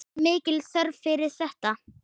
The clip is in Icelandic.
Var mikil þörf fyrir þetta?